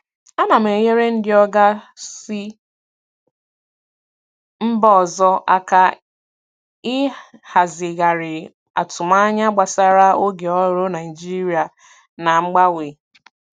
Ana m enyere ndị oga si mba ọzọ aka ịhazigharị atụmanya gbasara oge ọrụ Naịjirịa na mgbanwe.